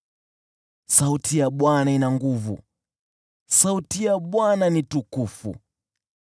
Sauti ya Bwana ina nguvu; sauti ya Bwana ni tukufu.